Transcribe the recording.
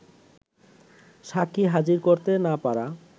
সাক্ষী হাজির করতে না পারা